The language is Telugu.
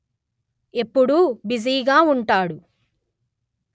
ఎప్పుడూ బిజీగా ఉంటాడు